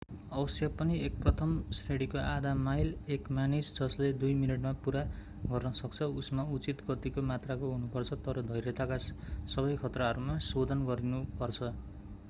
अवश्य पनि एक प्रथम श्रेणीको आधा-माइल एक मानिस जसले दुई मिनेटमा पूरा गर्न सक्छ उसमा उचित गतिको मात्राको हुनु पर्छ तर धैर्यताका सबै खतराहरूमा शोधन गरिनु पर्छ